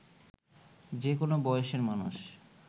যে কোনো বয়সের মানুষ